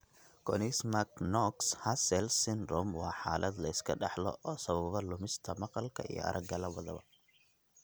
Konigsmark Knox Hussels syndrome waa xaalad la iska dhaxlo oo sababa lumista maqalka iyo aragga labadaba.